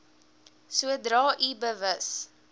sodra u bewus